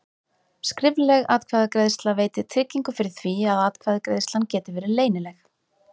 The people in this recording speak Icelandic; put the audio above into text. Skrifleg atkvæðagreiðsla veitir tryggingu fyrir því að atkvæðagreiðslan geti verið leynileg.